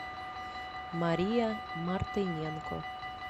мария мартыненко